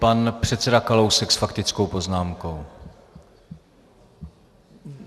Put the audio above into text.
Pan předseda Kalousek s faktickou poznámkou.